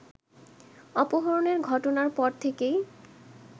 অপহরণের ঘটনার পর থেকেই